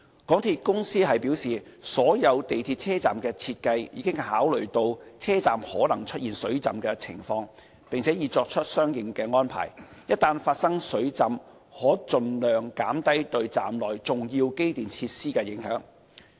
港鐵公司表示，所有港鐵車站的設計已考慮到車站可能出現水浸的情況，並已作出了相應安排，一旦發生水浸可盡量減低對站內重要機電設施的影響。